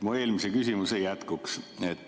Mu eelmise küsimuse jätkuks.